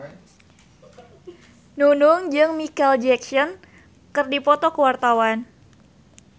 Nunung jeung Micheal Jackson keur dipoto ku wartawan